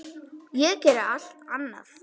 Ég geri allt annað.